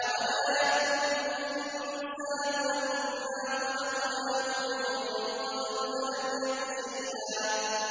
أَوَلَا يَذْكُرُ الْإِنسَانُ أَنَّا خَلَقْنَاهُ مِن قَبْلُ وَلَمْ يَكُ شَيْئًا